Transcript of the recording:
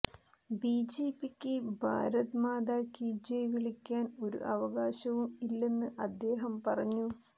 ബിജെപിക്ക് ഭാരത് മാതാ കീ ജയ് വിളിക്കാൻ ഒരു അവകാശവും ഇല്ലെന്ന് അദ്ദേഹം പറഞ്ഞു